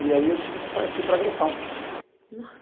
E aí eu tive que partir para agressão.